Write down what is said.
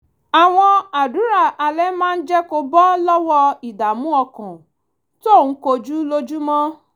àwọn àdúrà alẹ́ máa ń jẹ́ kó bọ́ lọ́wọ́ ìdààmú ọkàn tó ń kojú lójúmọ́